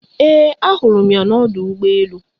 Ee ahụrụ m ya na ọdụ ụgbọ elu